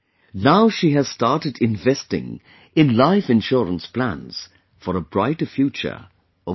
Now she has started investing in life insurance plans, for a brighter future of her children